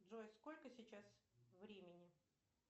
джой сколько сейчас времени